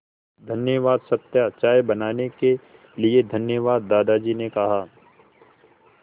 धन्यवाद सत्या चाय बनाने के लिए धन्यवाद दादाजी ने कहा